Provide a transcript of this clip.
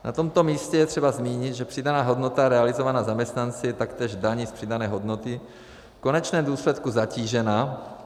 Na tomto místě je třeba zmínit, že přidaná hodnota realizovaná zaměstnanci je taktéž daní z přidané hodnoty v konečném důsledku zatížena.